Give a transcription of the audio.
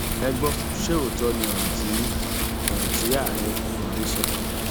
ẹ gbọ ṣe òótọ ni ọrọ tí ọrọ tí ààrẹ buhari sọ